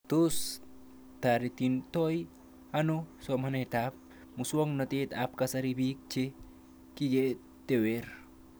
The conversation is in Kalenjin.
Tos taretitoi ano somanet ab muswog'natet ab kasari pik che kiketewr